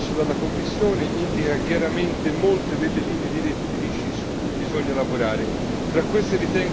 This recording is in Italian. Lo studio promosso dalla Commissione indica chiaramente molte delle linee direttrici su cui bisogna lavorare.